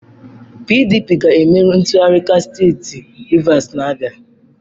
PDP ga-emeri ntuliaka steeti Rivers na-abịa.